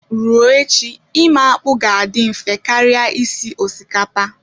Ruo echi ime akpu ga-adị mfe karịa isi osikapa